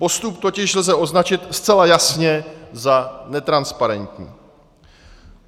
Postup totiž lze označit zcela jasně za netransparentní.